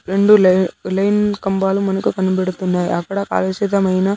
రెండు లే-- లైన్ కంబాలు మనకు కనిపెడుతున్నాయి అక్కడ కలుషితమైన.